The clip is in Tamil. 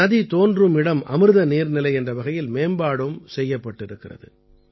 நதி தோன்றும் இடம் அமிர்த நீர்நிலை என்ற வகையில் மேம்பாடும் செய்யப்பட்டிருக்கிறது